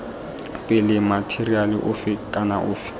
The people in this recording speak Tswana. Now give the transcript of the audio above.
pele matheriale ofe kana ofe